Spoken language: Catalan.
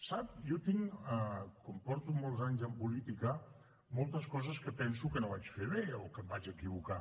sap jo tinc com porto molts anys en política moltes coses que penso que no vaig fer bé o que em vaig equivocar